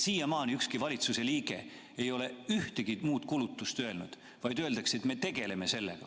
Siiamaani ükski valitsuse liige ei ole ühtegi muud kulutust öelnud, vaid öeldakse, et te tegelete sellega.